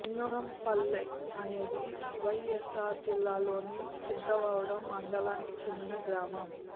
లింగంపల్లె అనేది వైఎస్ఆర్ జిల్లా లోని సిద్ధవటం మండలానికి చెందిన గ్రామం